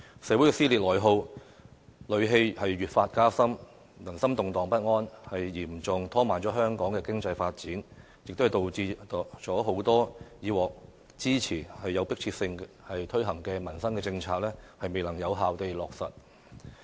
社會的撕裂內耗和戾氣越發加深，人心動盪不安，嚴重拖慢了香港經濟發展，也導致了很多以前有迫切性推行的民生政策未能有效地落實。